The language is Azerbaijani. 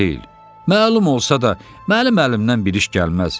Məlum olsa da mənim əlimdən bir iş gəlməz.